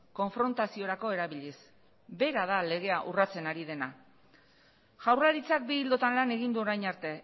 konfrontaziorako erabiliz bera da legea urratzen ari dena jaurlaritzak bi ildotan lan egin du orain arte